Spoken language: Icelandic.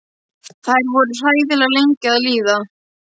Þær voru hræðilega lengi að líða.